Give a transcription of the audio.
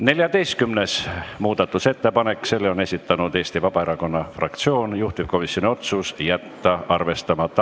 14. muudatusettepaneku on esitanud Eesti Vabaerakonna fraktsioon, juhtivkomisjoni otsus: jätta arvestamata.